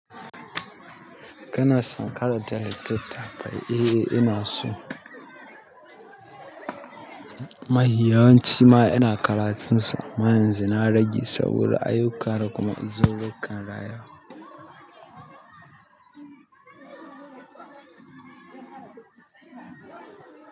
Kana son karanta littattafai? Eh, ina so. Mahiyanci ma ina karatunsu amma yanzu na rage saboda ayyuka da kuma uzururru kan rayuwa.